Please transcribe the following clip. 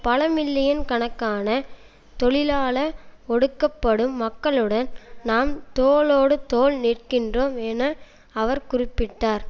பல மில்லியன் கணக்கான தொழிலாள ஒடுக்கப்படும் மக்களுடன் நாம் தோளோடு தோள் நிற்கின்றோம் என அவர் குறிப்பிட்டார்